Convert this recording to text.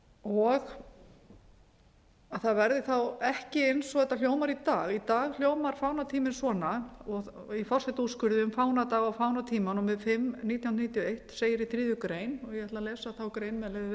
og það verði þá ekki eins og þetta hljómar í dag í dag hljómar fánatíminn svona og í forsetaúrskurði um fánadaga og með fánatímann númer fimm nítján hundruð níutíu og eitt segir í þriðju greinar og ég ætla að lesa